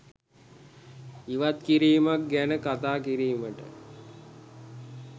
ඉවත්කිරීමක් ගැන කතා කිරීමට